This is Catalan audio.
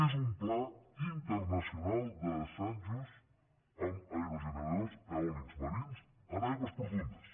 és un pla internacional d’assajos amb aerogeneradors eòlics marins en aigües profundes